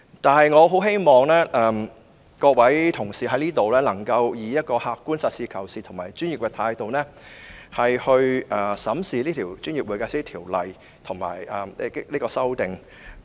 不過，我希望各位同事在這裏能夠以一種客觀、實事求是及專業的態度，審視這項《條例草案》。